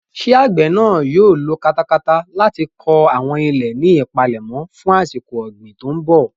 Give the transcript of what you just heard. Ṣé àgbè náà yóò lo katakata láti kọ àwọn ilẹ̀ ní ìpalẹ̀mọ́ fún àsìkò ọ̀gbìn tó ń bọ̀?